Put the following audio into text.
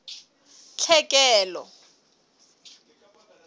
tlhekelo